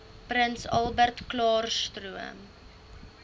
prins albertklaarstroom